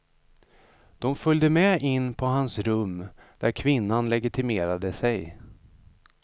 De följde med in på hans rum där kvinnan legitimerade sig.